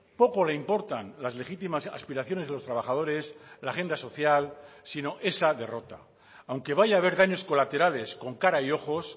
poco le importan las legítimas aspiraciones de los trabajadores la agenda social sino esa derrota aunque vaya a ver daños colaterales con cara y ojos